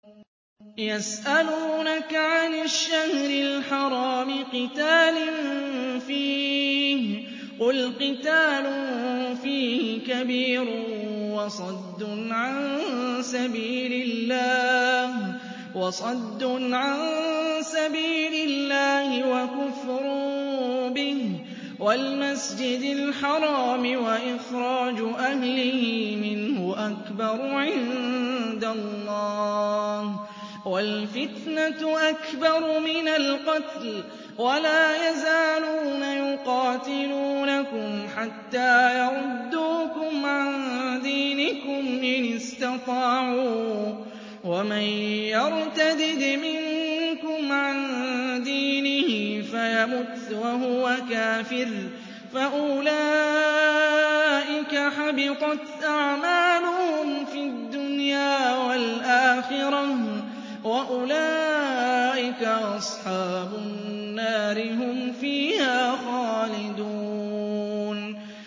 يَسْأَلُونَكَ عَنِ الشَّهْرِ الْحَرَامِ قِتَالٍ فِيهِ ۖ قُلْ قِتَالٌ فِيهِ كَبِيرٌ ۖ وَصَدٌّ عَن سَبِيلِ اللَّهِ وَكُفْرٌ بِهِ وَالْمَسْجِدِ الْحَرَامِ وَإِخْرَاجُ أَهْلِهِ مِنْهُ أَكْبَرُ عِندَ اللَّهِ ۚ وَالْفِتْنَةُ أَكْبَرُ مِنَ الْقَتْلِ ۗ وَلَا يَزَالُونَ يُقَاتِلُونَكُمْ حَتَّىٰ يَرُدُّوكُمْ عَن دِينِكُمْ إِنِ اسْتَطَاعُوا ۚ وَمَن يَرْتَدِدْ مِنكُمْ عَن دِينِهِ فَيَمُتْ وَهُوَ كَافِرٌ فَأُولَٰئِكَ حَبِطَتْ أَعْمَالُهُمْ فِي الدُّنْيَا وَالْآخِرَةِ ۖ وَأُولَٰئِكَ أَصْحَابُ النَّارِ ۖ هُمْ فِيهَا خَالِدُونَ